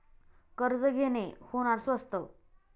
कर्ज घेणे होणार स्वस्त